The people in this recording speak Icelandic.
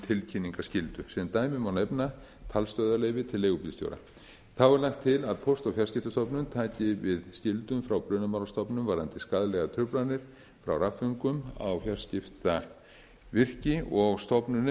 tilkynningarskyldu sem dæmi má nefna talstöðvaleyfi til leigubílstjóra þá er lagt til að póst og fjarskiptastofnun taki við skyldum frá brunamálastofnun varðandi skaðlegar truflanir frá rafföngum á fjarskiptavirki og stofnunin